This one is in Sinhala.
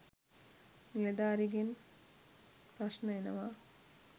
නිළධාරිගෙන් ප්‍රශ්ණ එනවා